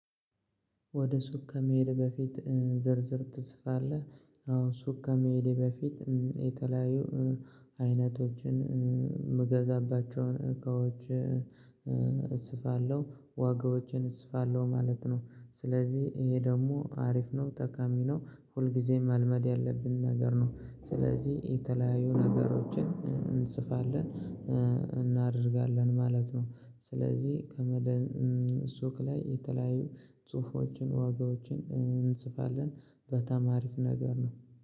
ወደ ሱቅ ከመሄድህ በፊት ዝርዝር ትጽፋለህ? አዎ ሱቅ ከመሄዴ በፊት የተለያዩ አይነቶችን የምገዛባቸውን እቃዎች እጽፋለሁ ዋጋዎችን እጽፋለሁ ማለት ነው። ስለዚህ ይሄ ደግሞ አሪፍ ነው ጠቃሚ ነው። ሁልጊዜም መልመድ ያለብን ነገር ነው። ስለዚህ የተለያዩ ነገሮችን እንጽፋለን እናደርጋለን ማለት ነው። ስለዚህ ከመደን ሱቅ ላይ የተለያዩ ጽሁፎችን ዋጋዎችን እንጽፋለን በጣም አሪፍ ነገር ነው።